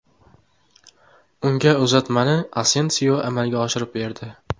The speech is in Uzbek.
Unga uzatmani Asensio amalga oshirib berdi.